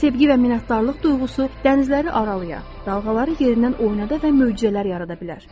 Sevgi və minnətdarlıq duyğusu dənizləri aralaya, dalğaları yerindən oynada və möcüzələr yarada bilər.